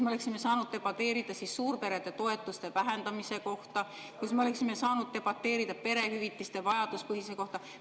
Me oleksime saanud debateerida suurperede toetuste vähendamise üle, me oleksime saanud debateerida perehüvitiste vajaduspõhisuse üle.